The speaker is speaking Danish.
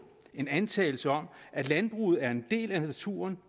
en antagelse om at landbruget er en del af naturen